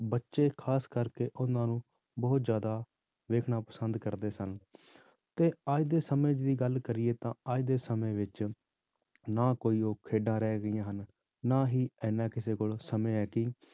ਬੱਚੇ ਖ਼ਾਸ ਕਰਕੇ ਉਹਨਾਂ ਨੂੰ ਬਹੁਤ ਜ਼ਿਆਦਾ ਦੇਖਣਾ ਪਸੰਦ ਕਰਦੇ ਸਨ ਤੇ ਅੱਜ ਦੇ ਸਮੇਂ ਦੀ ਗੱਲ ਕਰੀਏ ਤਾਂ ਅੱਜ ਦੇ ਸਮੇਂ ਵਿੱਚ ਨਾ ਕੋਈ ਉਹ ਖੇਡਾਂ ਰਹਿ ਗਈਆਂ ਹਨ, ਨਾ ਹੀ ਇੰਨਾ ਕਿਸੇ ਕੋਲ ਸਮੇਂ ਹੈ ਕਿ